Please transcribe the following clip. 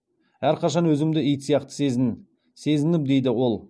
әрқашан өзімді ит сияқты сезіндім дейді ол